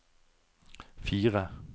fire